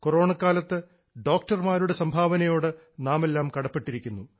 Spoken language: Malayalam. കൊറോണക്കാലത്ത് ഡോക്ടർമാരുടെ സംഭാവനയോട് നാമെല്ലാം കടപ്പെട്ടിരിക്കുന്നു